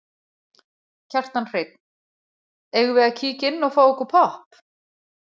Kjartan Hreinn: Eigum við að kíkja inn og fá okkur popp?